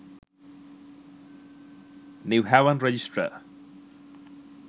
new haven register